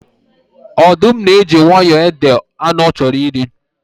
Ọdụm na-eji nwayọọ ede anụ ọ chọrọ iri